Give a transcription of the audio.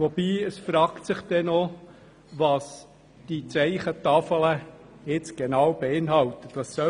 Doch es fragt sich, was denn genau auf diesem Zeichen stehen soll.